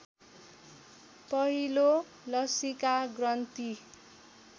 पहिलो लसीका ग्रन्थि